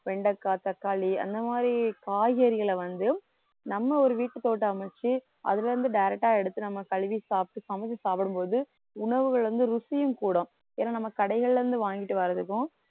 வெண்டைக்காய், தக்காளி அந்த மாதிரி காய்கறிகளை வந்து நம்ம ஒரு வீட்டு தோட்டம் அமைச்சு அதிலிருந்து direct ஆ எடுத்து நம்ம கழுவி சாப்பிட்டு சமைச்சு சாப்பிடும்போது உணவுகள் வந்து ருசியும் கூடும். ஏன்னா நம்ம கடைகள்ல இருந்து வாங்கிட்டு வர்றதுக்கும்